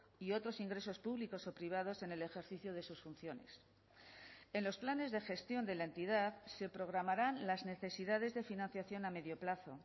y otros ingresos públicos o privados en el ejercicio de sus funciones en los planes de gestión de la entidad se programarán las necesidades de financiación a medio plazo